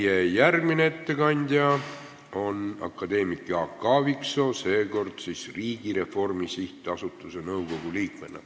Meie järgmine ettekandja on akadeemik Jaak Aaviksoo, seekord siis Riigireformi SA nõukogu liikmena.